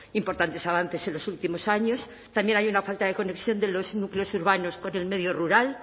importantes avances en los últimos años también hay una falta de conexión de los núcleos urbanos con el medio rural